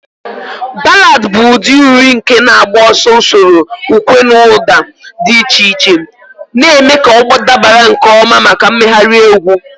Ballad bụ ụdị uri nke na-agbaso usoro ukwe na ụda dị iche iche, na-eme ka ọ dabara nke ọma maka mmegharị egwu.